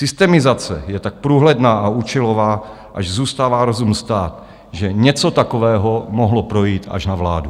Systemizace je tak průhledná a účelová, až zůstává rozum stát, že něco takového mohlo projít až na vládu.